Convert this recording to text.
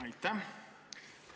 Aitäh!